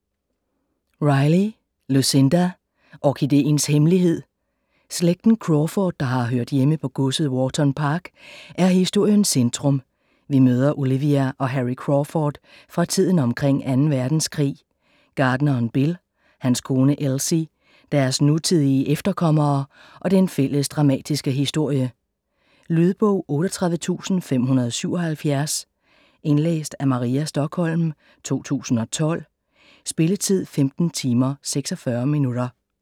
Riley, Lucinda: Orkideens hemmelighed Slægten Crawford, der har hørt hjemme på godset Wharton Park er historiens centrum, vi møder Olivia og Harry Crawford fra tiden omkring 2. verdenskrig, gartneren Bill, hans kone Elsie, deres nutidige efterkommere og den fælles dramatiske historie. Lydbog 38577 Indlæst af Maria Stokholm, 2012. Spilletid: 15 timer, 46 minutter.